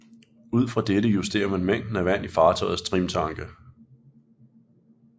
Ud fra dette justerer man mængden af vand i fartøjets trimtanke